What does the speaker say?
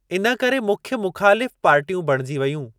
इन करे मुख्य मुख़ालिफ़ पार्टियूं बणिजी वेयूं।